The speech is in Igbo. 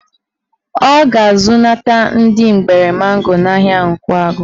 Ọ ga-azụnata ndị mgbere mango n'ahịa Nkwagụ